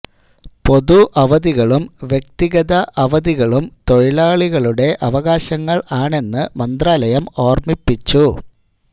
പൊതു അവധികളും വ്യക്തിഗത അവധികളും തൊഴിലാളികളുടെ അവകാശങ്ങള് ആണെന്ന് മന്ത്രാലയം ഓര്മിപ്പിച്ചു